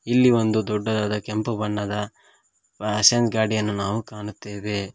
ಇಲ್ಲಿ ಒಂದು ದೊಡ್ಡದಾದ ಕೆಂಪು ಬಣ್ಣದ ಗಾಡಿಯನ್ನು ನಾವು ಕಾಣುತ್ತೇವೆ.